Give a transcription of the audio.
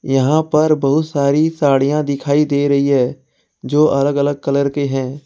यहां पर बहुत सारी साड़ियां दिखाई दे रही हैं जो अलग अलग कलर के हैं।